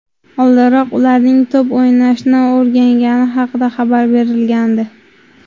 Oldinroq ularning to‘p o‘ynashni o‘rgangani haqida xabar berilgandi .